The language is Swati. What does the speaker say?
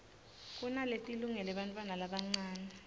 kunaletilungele bantfwana labancane